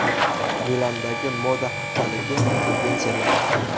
Milandagi Moda haftaligi tendensiyalari.